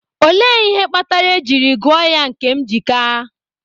Olee ihe kpatara e jiri gụọ ya Nkemjika?